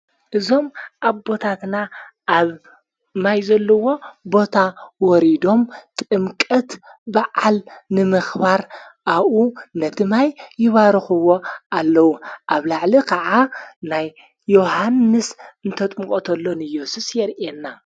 እዞም ኣ ቦታትና ኣብ ማይ ዘለዎ ቦታ ወሪዶም ጥምቀት ብዓል ንምኽባር ኣብኡ ነቲ ማይ ይባርኽዎ ኣለዉ ኣብ ላዕሊ ኸዓ ናይ ዮሓንስ እንተጥምቖተሎ ንዮሱስ የርየና።